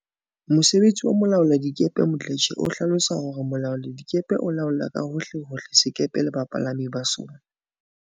Mosebetsi wa molaoladikepe Mdletshe o hlalosa hore Mo laoladikepe o laola ka hohle hohle sekepe le bapalami ba sona.